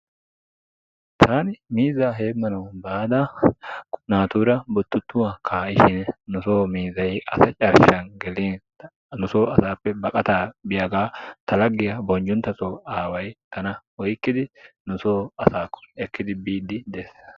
Taani miizzaa heemmanawu baada naatuura buttuttuwa kaa"ishin nu soo miizzay asa carshan gelin ta nu so asaappe baqataa biyaagaa ta laggiya bonjunttaso aaway tana oyiqqidi nu soo asaakko ekkidi biiddi des.